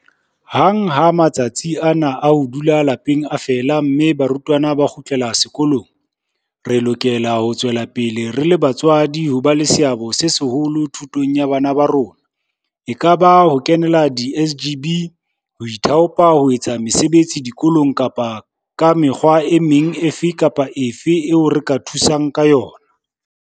Hang ha matsatsi ana a ho dula lapeng a fela mme barutwana ba kgutlela sekolong, re lokela ho tswela pele re le batswadi ho ba le seabo se seholo thutong ya bana ba rona, ekaba ka ho kenela di-SGB, ho ithaopa ho etsa mesebetsi dikolong kapa ka mekgwa e meng efe kapa efe eo re ka thusang ka yona.